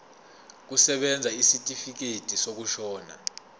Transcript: kusebenza isitifikedi sokushona